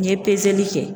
N ye pezeli kɛ